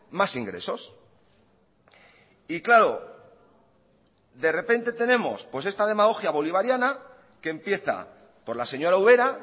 más ingresos y claro de repente tenemos esta demagogia bolivariana que empieza por la señora ubera